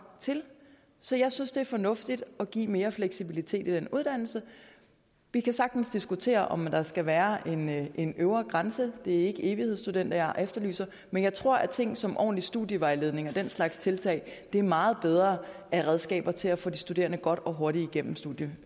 til så jeg synes det er fornuftigt at give mere fleksibilitet i uddannelsen vi kan sagtens diskutere om der skal være en øvre grænse det er ikke evighedsstudenter jeg efterlyser men jeg tror at ting som ordentlig studievejledning og den slags tiltag er meget bedre redskaber til at få de studerende godt og hurtigt igennem studietiden